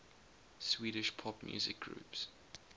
swedish pop music groups